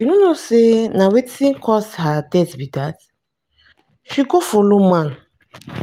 you know no say na wetin cause her death be dat. she go follow man.